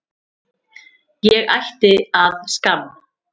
Ég ætti að skamm